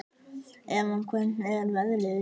Evan, hvernig er veðrið í dag?